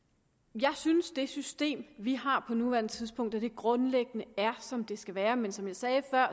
jeg synes det system vi har på nuværende tidspunkt grundlæggende er som det skal være men som jeg sagde før